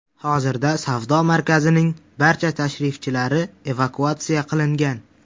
Hozirda savdo markazining barcha tashrifchilari evakuatsiya qilingan.